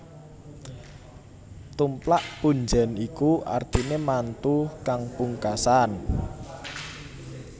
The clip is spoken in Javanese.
Tumplak punjèn iku artiné mantu kang pungkasan